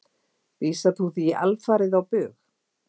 Vísar þú því alfarið á bug?